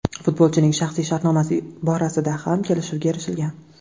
Futbolchining shaxsiy shartnomasi borasida ham kelishuvga erishilgan.